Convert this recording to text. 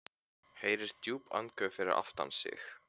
Heyrir djúp andköf fyrir aftan sig.